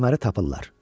Kəməri tapırlar.